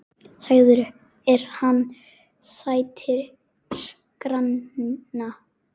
Sagður er hann sættir granna.